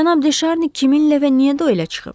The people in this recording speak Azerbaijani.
Cənab De Şarni kiminlə və niyə duelə çıxıb?